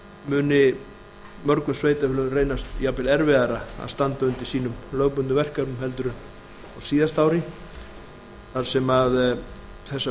muni mörgum sveitarfélögum reynast jafnvel erfiðara að standa undir sínum lögbundnu verkefnum heldur en á síðasta ári þar sem að þessar